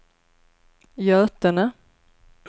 Götene